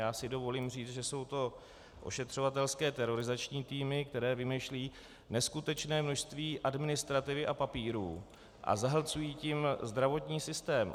Já si dovolím říct, že jsou to ošetřovatelské terorizační týmy, které vymýšlejí neskutečné množství administrativy a papírů a zahlcují tím zdravotní systém.